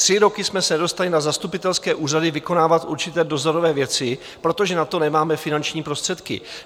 Tři roky jsme se nedostali na zastupitelské úřady vykonávat určité dozorové věci, protože na to nemáme finanční prostředky.